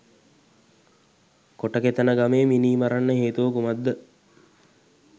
කොටකෙතන ගමේ මිනිමරන්න හේතුව කුමක්ද?